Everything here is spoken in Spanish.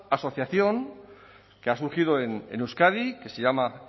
asociación que ha surgido en euskadi que se llama